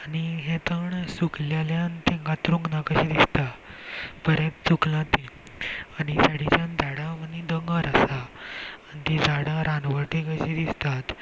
आनी हे तण सुकलेल्यान ते कातरुंक ना कशे दिसता बरेत सुखला ते आनी सायडीच्या झाडा आनी दोंगर आसा आनी ती झाडा रानवटी कशी दिस्तात.